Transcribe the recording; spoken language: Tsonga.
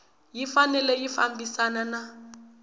yi fanele yi fambisana na